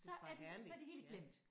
Det bare herligt ja